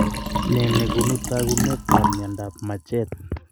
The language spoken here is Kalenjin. Nee nekoonu taakuneta myondap majeed?